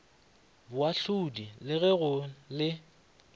boahlodi le ge go le